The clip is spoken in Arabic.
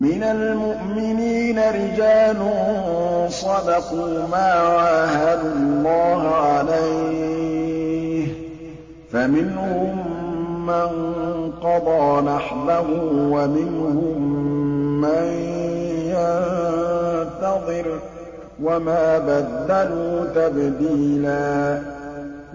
مِّنَ الْمُؤْمِنِينَ رِجَالٌ صَدَقُوا مَا عَاهَدُوا اللَّهَ عَلَيْهِ ۖ فَمِنْهُم مَّن قَضَىٰ نَحْبَهُ وَمِنْهُم مَّن يَنتَظِرُ ۖ وَمَا بَدَّلُوا تَبْدِيلًا